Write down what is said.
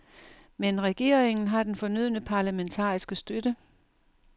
Men regeringen har den fornødne parlamentariske støtte.